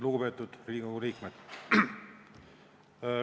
Lugupeetud Riigikogu liikmed!